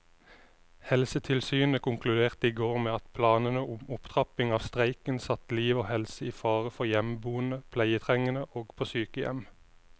Helsetilsynet konkluderte i går med at planene om opptrapping av streiken satte liv og helse i fare for hjemmeboende pleietrengende og på sykehjem.